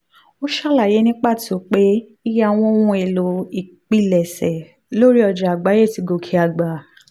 ó ṣàlàyé ní pàtó pé iye àwọn ohun èlò ìpilẹ̀ṣẹ̀ lórí ọjà àgbáyé ti gòkè àgbà.